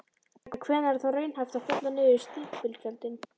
En hvenær er þá raunhæft að fella niður stimpilgjöldin?